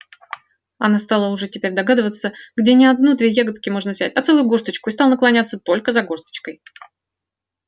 она стала уже теперь догадываться где не одну-две ягодки можно взять а целую горсточку и стала наклоняться только за горсточкой